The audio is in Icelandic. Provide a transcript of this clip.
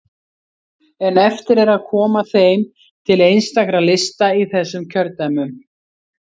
En eftir er að koma þeim til einstakra lista í þessum kjördæmum.